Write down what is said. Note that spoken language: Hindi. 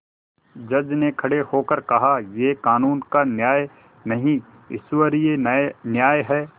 जज ने खड़े होकर कहायह कानून का न्याय नहीं ईश्वरीय न्याय है